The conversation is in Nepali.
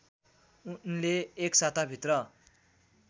उनले एक साताभित्र